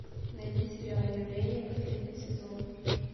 найди сериал явление последний сезон